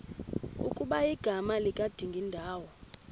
ukuba igama likadingindawo